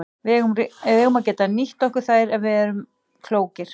Við eigum að geta nýtt okkur þær ef við erum klókir.